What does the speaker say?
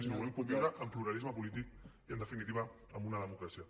sinó que volem conviure en pluralisme polític i en definitiva en una democràcia